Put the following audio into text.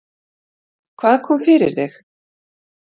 Hvað kom fyrir þig?